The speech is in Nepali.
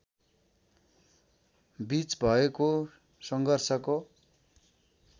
बीच भएको सङ्घर्षको